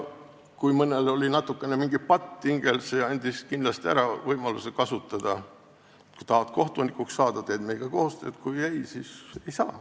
Kui mõnel oli mingi patt hingel, siis seda oli kindlasti võimalik ära kasutada: kui tahad kohtunikuks saada, teed meiega koostööd, kui ei tee, siis kohtunikuks ei saa.